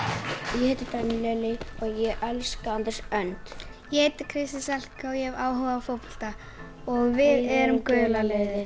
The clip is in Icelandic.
ég heiti Daníel Elí og ég elska Andrés önd ég heiti Kristín Salka og ég hef áhuga á fótbolta og við erum gula liðið